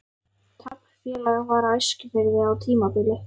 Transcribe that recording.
Taflfélag var á Eskifirði á tímabili.